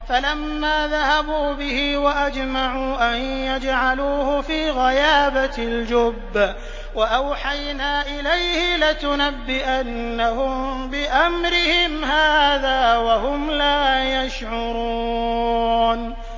فَلَمَّا ذَهَبُوا بِهِ وَأَجْمَعُوا أَن يَجْعَلُوهُ فِي غَيَابَتِ الْجُبِّ ۚ وَأَوْحَيْنَا إِلَيْهِ لَتُنَبِّئَنَّهُم بِأَمْرِهِمْ هَٰذَا وَهُمْ لَا يَشْعُرُونَ